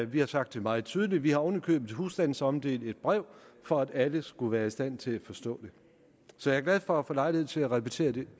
vi har sagt det meget tydeligt vi har oven i købet husstandsomdelt et brev for at alle skulle være i stand til at forstå det så jeg er glad for at få lejlighed til at repetere det